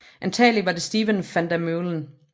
Antagelig var det Steven van der Meulen